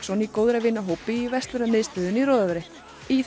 í góðra vina hópi í verslunarmiðstöðinni í Rødovre í það